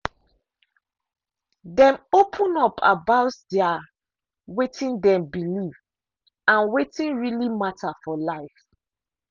dem open up about their wetin dem believe and wetin really matter for life.